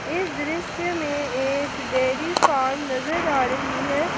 इस दृश्य में एक डेयरी फार्म नजर आ रही है।